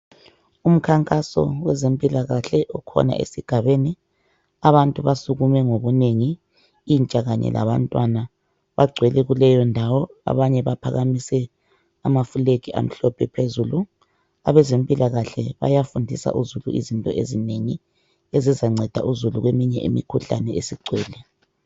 Umkhankaso wezempilakahle okhona esigabeni abantu basukume ngobunengi intsha kanye labantwana, bagcwele kuleyondawo abanye baphakamise amaflegi amhlophe phezulu. Abezempilakahle bayahunfisa uzulu izinto ezinengi kweminye imikhuhlane esigcwele.